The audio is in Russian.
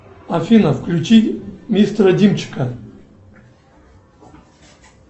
афина включи мистера димчика